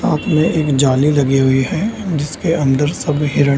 साथ में एक जाली लगी हुई है जिसके अंदर सब हिरन --